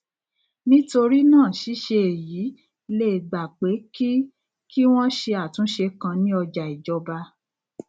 nítorí náà ṣíṣe èyí lè gba pé kí kí wón ṣe àtúnṣe kan ní ọjà ìjọba